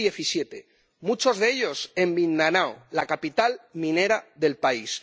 2017 muchos de ellos en Mindanao, la capital minera del país.